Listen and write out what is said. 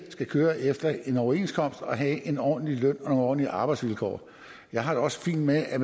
skal køre efter en overenskomst og have en ordentlig løn og nogle ordentlige arbejdsvilkår jeg har det også fint med at